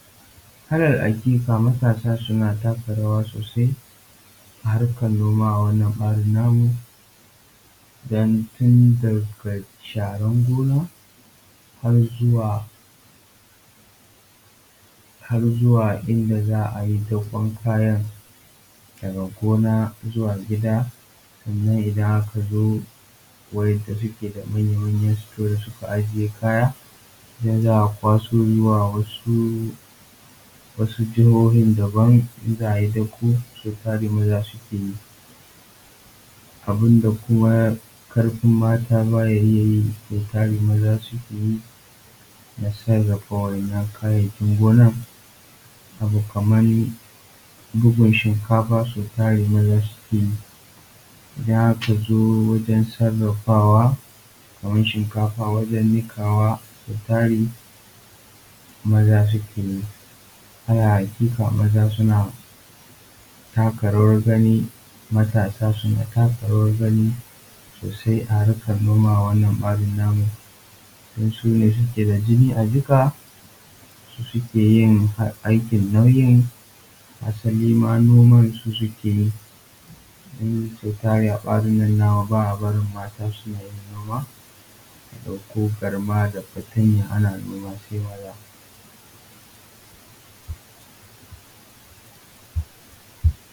Alal aƙiƙa matasa suna taka rawa sosai, a harkan noma a wannan ɓarin namu don tun daga sharan gona, har zuwa har zuwa inda za a yi dakon kayan daga gona zuwa gida, sannan idan aka zo wa'inda suke da manya manyan store da suka ajiye kaya idan za a kwaso zuwa wasu jahohin daban in za a yi dako sau tar maza suke yi. Abin da ko ƙarfin mata ba ya iya yi so tari maza suke yi na sarrafa wannan kayayyakin gona. Abu kaman bugun shinkafa so tari maza suke yi, idan aka zo wajan sarafawa kamar shinkafa wajan niƙawa so tari maza suke yi. Alal aƙiƙa maza suna taka rawar gani, matasa suna taka rawan gani sosai a harkan noma a wannan ɓarin namu don sune suke da jinin a jika, su suke yi aikin nauyin asali ma noma su suke yi don so tari a ɓarin nan nawa ba a barin mata suna yin noma su ɗauko garma da fatanya ana noma sai maza.